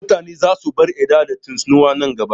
Mutane za su bar yarda da tsinuwa nan gaba